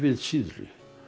síðri